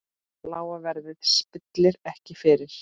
Lága verðið spillir ekki fyrir.